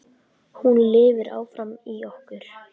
Hún lifir áfram í okkur.